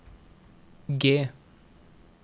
G